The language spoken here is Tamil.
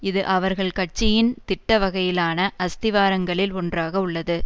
இது அவர்கள் கட்சியின் திட்டவகையிலான அஸ்திவாரங்களில் ஒன்றாக உள்ளது